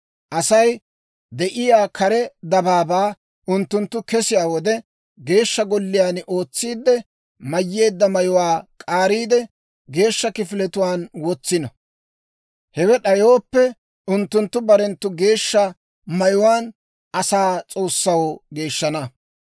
Asay de'iyaa kare dabaabaa unttunttu kesiyaa wode, Geeshsha Golliyaan ootsiidde mayyeedda mayuwaa k'aariide, geeshsha kifiletuwaan wotsino. Hewe d'ayooppe, unttunttu barenttu geeshsha mayuwaan asaa S'oossaw geeshshana.